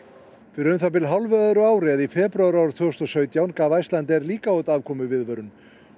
fyrir um það bil hálfu öðru ári eða í febrúar árið tvö þúsund og sautján gaf Icelandair líka út afkomuviðvörun